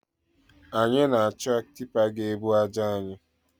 Anyi na-achọ tipa ga-ebu aja anyị